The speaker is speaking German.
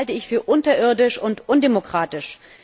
Das halte ich für unterirdisch und undemokratisch.